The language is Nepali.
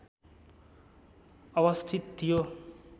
अवस्थित थियो